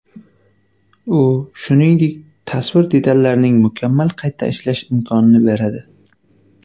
U, shuningdek, tasvir detallarining mukammal qayta ishlash imkonini beradi.